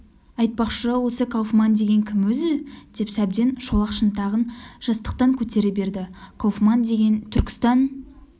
айтпақшы осы кауфман деген кім өзі деп сәбден шолақ шынтағын жастықтан көтере берді кауфман деген түркістан